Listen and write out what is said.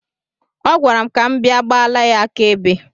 Ọ gwara m ka m bịa gbala ya aka ebe.